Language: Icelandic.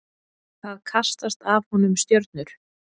Það kastast af honum stjörnur.